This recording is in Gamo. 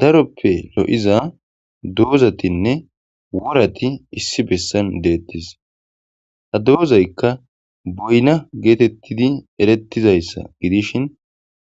Daroppe lo'iza doozatinne worati issi bessan deettis ha doozaykka boyna geetettidi erettizayssa gidishin